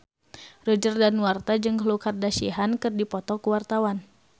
Roger Danuarta jeung Khloe Kardashian keur dipoto ku wartawan